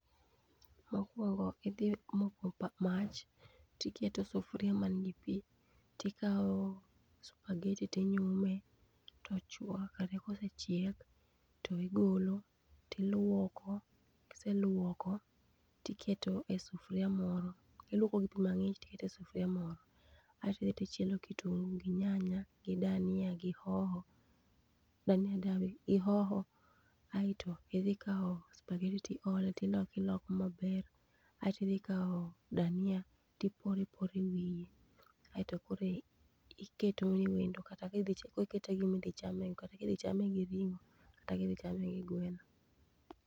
Mokuongo idhi moko mach tiketo sufuria[css] man gi pi tikawo supergeti tinyume tochuakre kosechiek to igolo tiluoko kiseluoko, tiketo e sufuria moro, iluoko gi pi mang'ich tikete sufuria moro, ae to idhi tichielo kitungu gi nyanya gi dhania gi hoho ae to idhi kawo supergheti ti ole ti loko loko maber ae ti dhia kawo dhania tipore pore wiye ae to koro iketo ne wendo kata kikite gi gima idhi chame go kata kidhi gi ringo kata kidhi chame gi gweno.